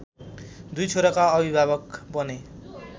दुई छोराका अभिभावक बने।